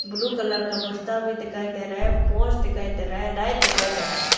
Blue colour का बस्ता भी दिखाई दे रहा है पोस्ट दिखाई दे रहा है लाइट दिखाई दे रहा है।